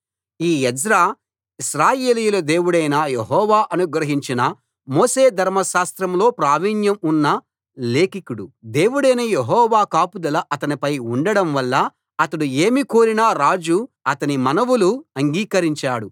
ఈ ఎజ్రా ఇశ్రాయేలీయుల దేవుడైన యెహోవా అనుగ్రహించిన మోషే ధర్మశాస్త్రంలో ప్రావీణ్యం ఉన్న లేఖికుడు దేవుడైన యెహోవా కాపుదల అతనిపై ఉండడం వల్ల అతడు ఏమి కోరినా రాజు అతని మనవులు అంగీకరించాడు